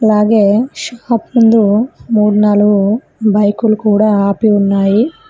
అలాగే షాప్ ముందు మూడు నాలుగు బైకులు కూడా ఆపి ఉన్నాయి.